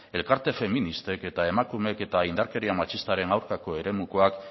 elkarte feministek eta emakumeek eta indarkeriaren matxistaren aurkako eremukoak